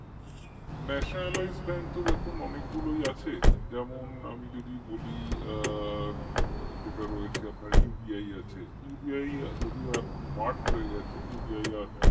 nationalizedbank তো দেখুন অনেকগুলোই আছে যেমন আমি যদি বলি আ যেটা রয়েছে আপনার UBI আছে UBI যদিও এখন merge হয়ে গেছে UBI আর